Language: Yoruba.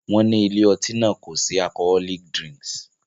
Wọ́n ní ilé-ọtí náà kò sin alcholoic dirnks.